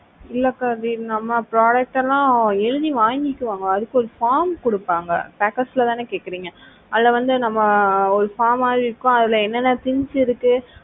இல்ல கதிர் நம்ம product எல்லாம் எழுதி வாங்கிக்குவாங்க அதுக்கு ஒரு form கொடுப்பாங்க packers தானே கேக்குறீங்க? அதுல வந்து நம்ம ஒரு form மாதிரி இருக்கும் அதுல என்னென்ன things இருக்கு